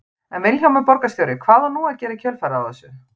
En Vilhjálmur borgarstjóri, hvað á nú að gera í kjölfarið á þessu?